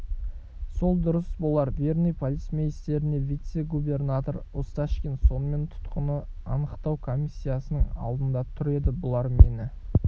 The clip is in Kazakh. сол дұрыс болар верный полицмейстеріне вице-губернатор осташкин сонымен тұтқын анықтау комиссиясының алдында тұр еді бұлар мені